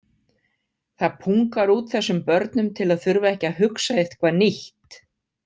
Það pungar út þessum börnum til að þurfa ekki að hugsa eitthvað nýtt.